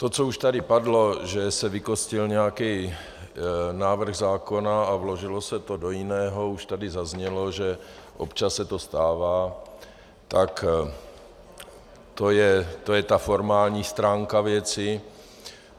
To, co už tady padlo, že se vykostil nějaký návrh zákona a vložilo se to do jiného, už tady zaznělo, že občas se to stává, tak to je ta formální stránka věci.